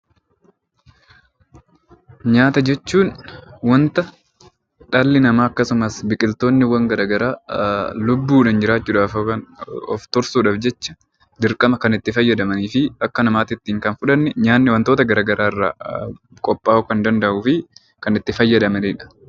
Nyaata jechuun wanta dhalli namaa akkasumas biqiltoonniiwwan gara garaa lubbuu dhaan jiraachuu dhaaf yookiin of tursuu dhaaf jecha dirqama kan itti fayyadamanii fi akka namaati ittiin fudhanne nyaanni wantoota gara garaa irraa qophhaa'uu kan danda'uu fi kan itti fayyadamani dha.